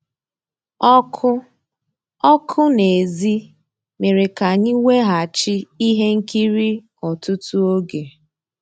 Ọ́kụ́ ọ́kụ́ n'èzí mérè ká ànyị́ wegàchí íhé nkírí ọ́tụtụ́ ògé.